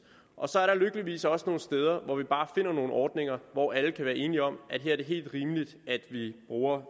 og så er der lykkeligvis også nogle steder hvor vi bare finder nogle ordninger hvor alle kan være enige om at her er det helt rimeligt at vi bruger